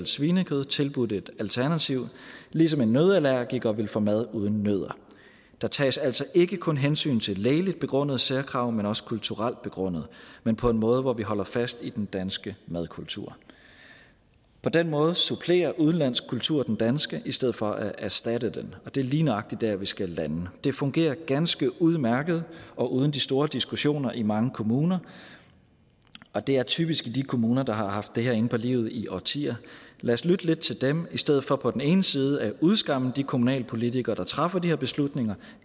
svinekød i tilbudt et alternativ ligesom en nøddeallergiker vil få mad uden nødder der tages altså ikke kun hensyn til lægeligt begrundede særkrav men også kulturelt begrundede men på en måde hvor vi holder fast i den danske madkultur på den måde supplerer udenlandsk kultur den danske i stedet for at erstatte den og det er lige nøjagtig der vi skal lande det fungerer ganske udmærket og uden de store diskussioner i mange kommuner og det er typisk i de kommuner der har haft det her inde på livet i årtier lad os lytte lidt til dem i stedet for på den ene side at udskamme de kommunalpolitikere der træffer de her beslutninger